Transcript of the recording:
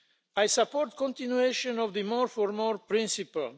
I support continuation of the more for more' principle.